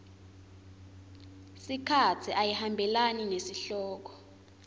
sikhatsi ayihambelani nesihloko